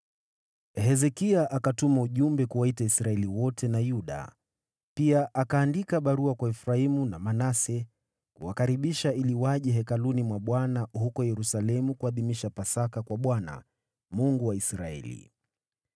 Hezekia akatuma ujumbe kuwaita Israeli wote na Yuda, pia akaandika barua kwa Efraimu na Manase, kuwakaribisha ili waje hekaluni mwa Bwana huko Yerusalemu kuadhimisha Pasaka kwa Bwana , Mungu wa Israeli.